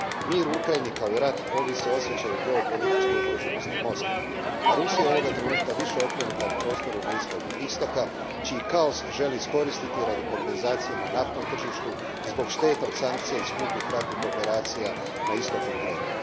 Mir u Ukrajini, kao i rat, ovise o osjećaju geopolitičke ugroženosti Moskve, a Rusija je ovoga trenutka više okrenuta prostoru Bliskog istoka čiji kaos želi iskoristiti radi kompenzacije na naftnom tržištu, zbog šteta od sankcija i skupih ratnih operacija na istoku Ukrajine.